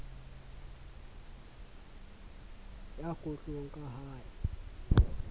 ya kgohlong ka ha e